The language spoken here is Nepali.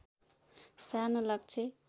सानो लक्ष्य